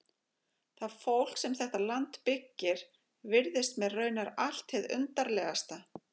Það fólk sem þetta land byggir virðist mér raunar allt hið undarlegasta.